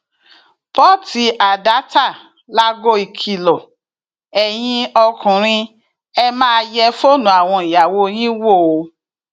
pọtádatà láago ìkìlọ ẹyin ọkùnrin ẹ máa yẹ fóònù àwọn ìyàwó yín wò ó